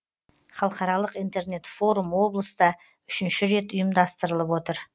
халықаралық интернет форум облыста үшінші рет ұйымдастырылып отыр